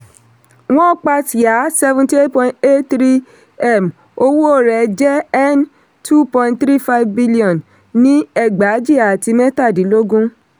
wọ́n pa ṣíà seventy eight point eight three m owó rẹ̀ jẹ́ n two point three five billion ní ẹgbàajì àti mẹ́tàdínlógún.